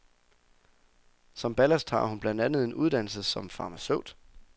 Som ballast har hun blandt andet en uddannelse som farmaceut.